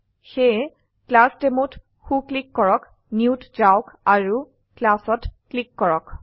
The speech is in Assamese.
সেয়ে ClassDemoত সো ক্লিক কৰক Newত যাওক আৰু Classত ক্লীক কৰক